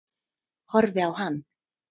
Horfi á hann.